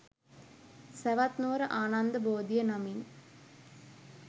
සැවැත්නුවර ආනන්ද බෝධිය නමින්